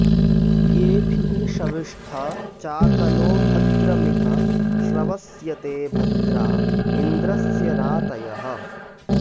येभिः॑ शविष्ठ चा॒कनो॑ भ॒द्रमि॒ह श्र॑वस्य॒ते भ॒द्रा इन्द्र॑स्य रा॒तयः॑